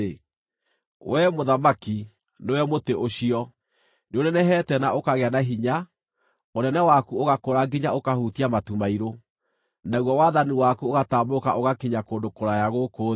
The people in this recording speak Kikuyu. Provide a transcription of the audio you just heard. wee mũthamaki, nĩwe mũtĩ ũcio! Nĩũnenehete na ũkagĩa na hinya; ũnene waku ũgakũra nginya ũkahutia matu mairũ, naguo wathani waku ũgatambũrũka ũgakinya kũndũ kũraya gũkũ thĩ.